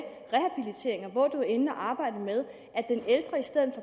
hvor inde at arbejde med at den ældre i stedet